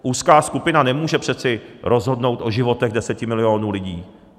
Úzká skupina nemůže přece rozhodnout o životech deseti milionů lidí.